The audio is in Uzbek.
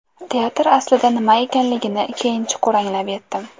Teatr aslida nima ekanligini keyin chuqur anglab yetdim.